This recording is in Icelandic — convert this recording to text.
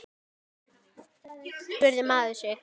spurði maður sig.